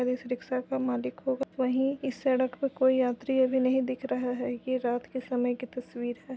Rickshaw के मालिक वही इस सड़क पर कोई यात्री अभी नहीं दिख रहा हैं ये रात के समय की तस्वीर हैं।